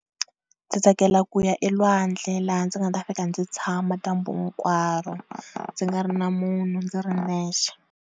Ndzi tsakela ku ya elwandle laha ndzi nga ta fika ndzi tshama dyambu hinkwaro ndzi nga ri na munhu ndzi ri nexe.